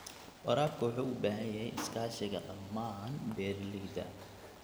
Waraabka wuxuu u baahan yahay iskaashiga dhammaan beeralayda.